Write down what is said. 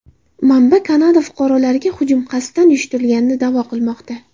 Manba Kanada fuqarolariga hujum qasddan uyushtirilganini da’vo qilmoqda.